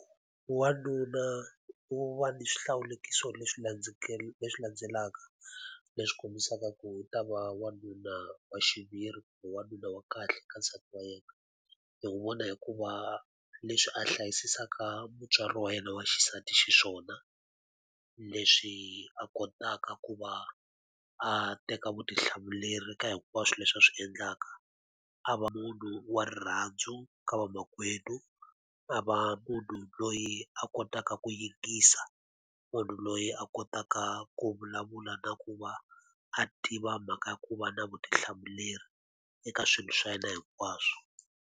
Wanuna u va ni swihlawulekiso leswi leswi landzelaka leswi kombisaka ku u ta va wanuna wa xiviri kumbe wanuna wa kahle ka nsati wa yena. Hi n'wi vona hi ku va leswi a hlayisisaka mutswari wa yena wa xisati xiswona, leswi a kotaka ku va a teka vutihlamuleri ka hinkwaswo leswi a swi endlaka. A va munhu wa rirhandzu ka vamakwenu, a va mu munhu loyi a kotaka ku yingisa, munhu loyi a kotaka ku vulavula na ku va a tiva mhaka ku va na vutihlamuleri eka swilo swa yena hinkwaswo.